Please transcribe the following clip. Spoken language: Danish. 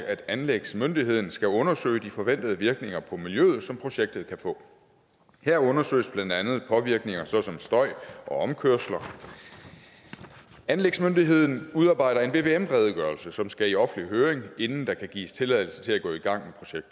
at anlægsmyndigheden skal undersøge de forventede virkninger på miljøet som projektet kan få her undersøges blandt andet påvirkninger såsom støj og omkørsler anlægsmyndigheden udarbejder en vvm redegørelse som skal i offentlig høring inden der kan gives tilladelse til at gå i gang